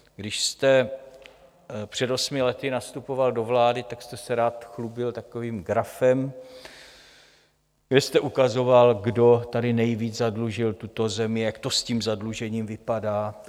Když jste před osmi lety nastupoval do vlády, tak jste se rád chlubil takovým grafem, kde jste ukazoval, kdo tady nejvíc zadlužil tuto zemi, jak to s tím zadlužením vypadá.